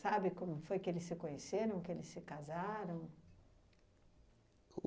Sabe como foi que eles se conheceram, que eles se casaram?